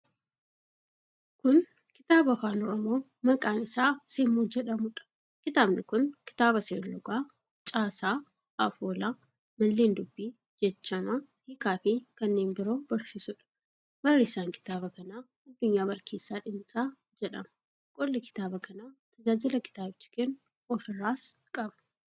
Kun kitaaba afaan Oromoo maqaan isaa Semmoo jedhamuudha. Kitaabni kun kitaaba seerluga, caasaa, afoola, malleen dubbii, jechama, hiikaafi kanneen biroo barsiisuudha. Barreessaan kitaaba kanaa Addunyaa Barkeessaa Dhinsaa jedhama. Qolli kitaaba kanaa tajaajila kitaabichi kennu ofirraa qaba.